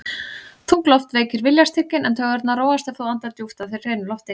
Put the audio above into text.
Þung loft veikir viljastyrkinn, en taugarnar róast ef þú andar djúpt að þér hreinu lofti.